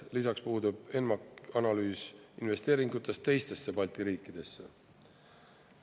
Lisaks puudub ENMAK-is analüüs investeeringutest teistesse Balti riikidesse.